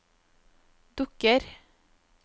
dukker